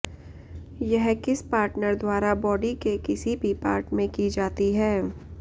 यह किस पार्टनर द्वारा बॉडी के किसी भी पार्ट में की जाती है